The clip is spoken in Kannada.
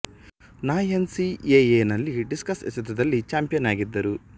ನ ಎನ್ ಸಿ ಎಎ ನಲ್ಲಿ ಡಿಸ್ಕಸ್ ಎಸೆದಲ್ಲಿ ಛಾಂಪಿಯನ್ ಆಗಿದ್ದರು